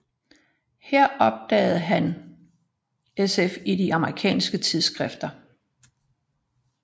Her opdagede han sf i de amerikanske tidsskrifter